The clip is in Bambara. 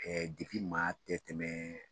ma bɛɛ tɛmɛ